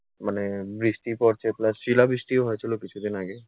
মানে বৃষ্টি পড়ছে plus শিলাবৃষ্টিও হয়েছিলো কিছুদিন আগে